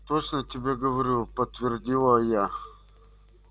точно тебе говорю подтвердила я